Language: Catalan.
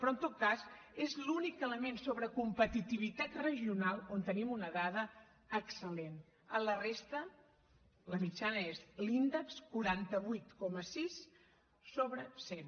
però en tot cas és l’únic element sobre competitivitat regional on tenim una dada excel·lent en la resta la mitjana és l’índex quaranta vuit coma sis sobre cent